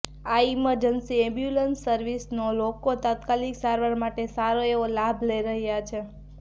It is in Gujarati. આ ઇમરજન્સી એમ્બ્યુલન્સ સર્વિસનો લોકો તત્કાલીક સારવાર માટે સારો એવો લાભ લઇ રહ્યા છે